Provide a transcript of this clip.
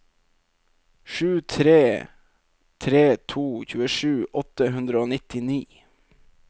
sju tre tre to tjuesju åtte hundre og nittini